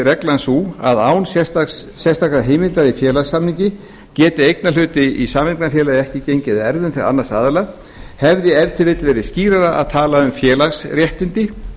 reglan sú að án sérstakrar heimildar í félagssamningi geti eignarhluti í sameignarfélagi ekki gengið að erfðum til annars aðila hefði ef til vill verið skýrara að tala um félagsréttindi